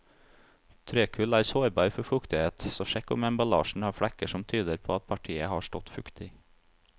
Trekull er sårbar for fuktighet, så sjekk om emballasjen har flekker som tyder på at partiet har stått fuktig.